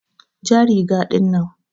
ja riga ɗinnan.